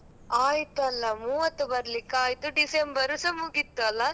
ಆಯ್ತಲ್ಲ ಮೂವ್ವತ್ತು ಬರ್ಲಿಕಾಯ್ತು December ಸ ಮುಗಿತಲ್ಲ.